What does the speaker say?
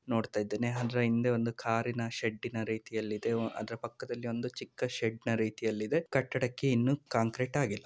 ನೋಡ್ತಾ ಇದ್ದೇನೆ ಅಂದರೆ ಹಿಂದೆ ಒಂದು ಕಾರಿನ ಶೆಡ್‌ನ ರೀತಿಯಲ್ಲಿ ಇದೆ. ಅದರ ಪಕ್ಕದಲ್ಲಿ ಒಂದು ಚಿಕ್ಕ ಶೆಡ್‌ನ ರೀತಿಯಲ್ಲಿ ಇದೆ. ಈ ಕಟ್ಟಡಕ್ಕೆ ಇನ್ನೂ ಕಾಂಕ್ರೆಟ್ ಆಗಿಲ್ಲ.